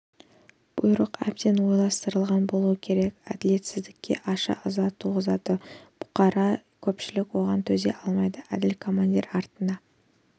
бұйрық әбден ойластырылған болуы керек әділетсіздік ашу-ыза туғызады бұқара көпшілік оған төзе алмайды әділ командир артына